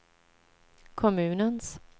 kommunens